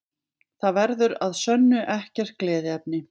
Það verður að sönnu ekkert gleðiefni